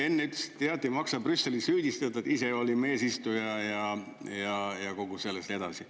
Enne ütlesite, jah, et ei maksa Brüsselit süüdistada, ise olime eesistuja ja kogu selles ja nii edasi.